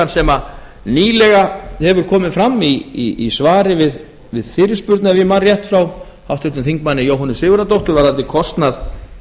sem nýlega hefur komið fram í svari við fyrirspurn ef ég man rétt frá háttvirts þingmanns jóhönnu sigurðardóttur varðandi kostnað